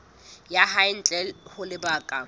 ya hae ntle ho lebaka